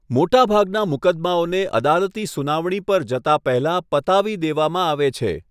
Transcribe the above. મોટા ભાગના મુકદ્દમાઓને અદાલતી સુનાવણી પર જતા પહેલા પતાવી દેવામાં આવે છે.